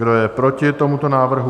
Kdo je proti tomuto návrhu?